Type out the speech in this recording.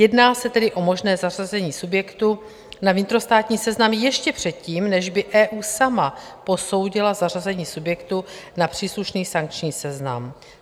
Jedná se tedy o možné zařazení subjektu na vnitrostátní seznam ještě předtím, než by EU sama posoudila zařazení subjektu na příslušný sankční seznam.